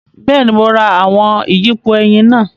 Bẹẹni, Mo rá awọn iyipo ẹyin náà